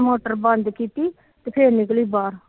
motor ਬੰਦ ਕੀਤੀ ਫਿਰ ਨਿਕਲੀ ਬਾਹਰ